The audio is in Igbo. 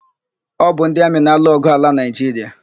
Ọ bụ ndị amị na-alụ ọgwụ ala na Naịjiria.